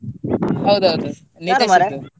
ಹೌದೌದು ಇದ್ದು.